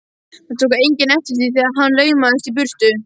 Það tók enginn eftir því þegar hann laumaðist í burtu.